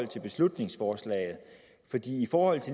beslutningsforslaget for